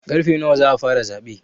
Karfe nawa za a fara zaɓe?